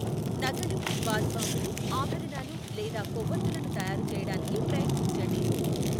నగలు, బాత్ బాంబులు, ఆభరణాలు లేదా కొవ్వొత్తులను తయారు చేయడానికి ప్రయత్నించండి.